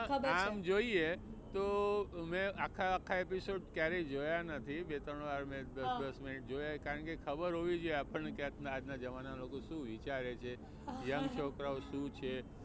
આમ જોઈએ તો મેં આખા આખા episode ક્યારેય જોયા નથી બે ત્રણ વાર મેં દસ દસ મિનિટે જોયા છે કારણકે ખબર હોવી જોઈએ આપણ ને કે આજના જમાનામાં લોકો શું વિચારે છે young છોકરાઓ શું છે.